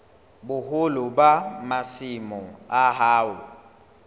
boholo ba masimo a hao